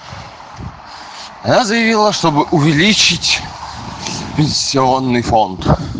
она заявила чтобы увеличить пенсионный фонд